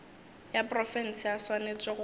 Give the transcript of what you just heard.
ya profense a swanetše go